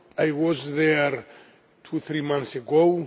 I was there two or three months ago.